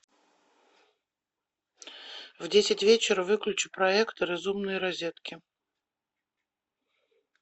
в десять вечера выключи проектор из умной розетки